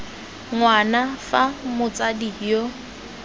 ng wana fa motsadi yo